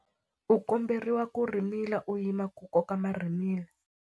U komberiwa ku rhimila u yima ku koka marhimila.